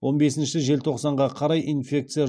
он бесінші желтоқсанға қарай инфекция